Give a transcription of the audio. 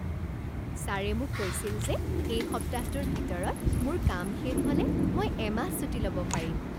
ছাৰে মোক কৈছিল যে এই সপ্তাহটোৰ ভিতৰত মোৰ কাম শেষ হ'লে মই এমাহ ছুটী ল'ব পাৰিম!